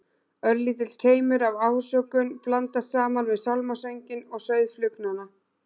Örlítill keimur af ásökun blandast saman við sálmasönginn og suð flugnanna.